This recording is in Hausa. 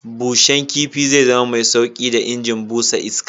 Bushen kifi zai zama mai sauƙi da injin busa iska.